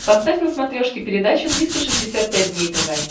поставь на смотрешке передачу триста шестьдесят пять дней тв